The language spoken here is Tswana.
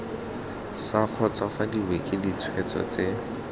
sa kgotsofadiwe ke ditshwetso tse